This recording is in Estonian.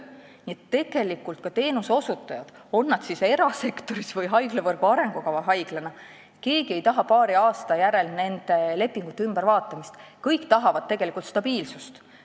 Nii et ka teenuseosutajad, olgu nad erasektoris või haiglavõrgu arengukava haiglas, ei taha paari aasta järel nende lepingute ümbervaatamist – kõik tahavad tegelikult stabiilsust.